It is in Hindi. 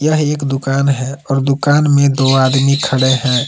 यह एक दुकान है और दुकान में दो आदमी खड़े है।